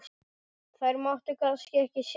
Þær máttu kannski ekki sjást?